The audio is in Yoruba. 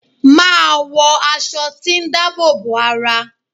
Màá wọ aṣọ tí dáàbò bo ara.